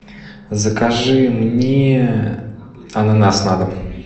закажи мне ананас на дом